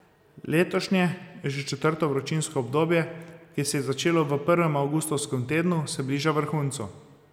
Letošnje že četrto vročinsko obdobje, ki se je začelo v prvem avgustovskem tednu, se bliža vrhuncu.